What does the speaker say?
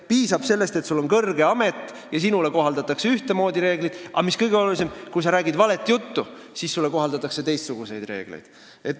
Piisab sellest, et sul on kõrge amet, ja sinule kohaldatakse ühtemoodi reegleid, aga mis kõige olulisem: kui sa räägid valet juttu, siis sulle kohaldatakse teistsuguseid reegleid.